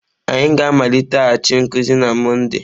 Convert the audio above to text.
Anyị ga-amaliteghachi nkuzi na Mọnde..